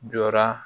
Jɔra